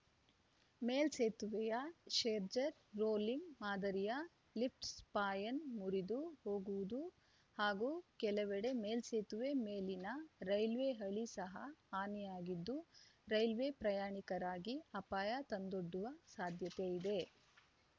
ಮೇಲ್ಸೇತುವೆಯ Scherzer rolling ಮಾದರಿಯ lift span ಮುರಿದು ಹೋಗುವುದು ಹಾಗೂ ಕೆಲವೆಡೆ ಮೇಲ್ಸೇತುವೆ ಮೇಲಿನ ರೈಲ್ವೆ ಹಳಿ ಸಹ ಹಾನಿಯಾಗಿದ್ದು ರೈಲ್ವೆ ಪ್ರಯಾಣಿಕರಿಗೆ ಅಪಾಯ ತಂದೊಡ್ಡುವ ಸಾಧ್ಯತೆಯಿದೆ